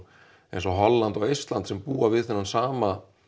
eins og Holland og Eistland sem búa við þennan sama